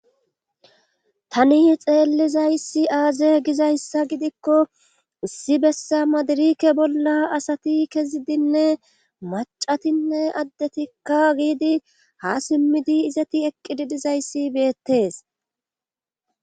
tani xeellizayssi aaze gizayssa gidikko issi bessa madirike bolla asati kezidinne macatinne addetikka giidi ha simmidi izati eqqididizayssi beettees